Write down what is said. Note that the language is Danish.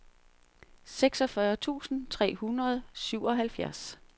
seksogfyrre tusind tre hundrede og syvoghalvfjerds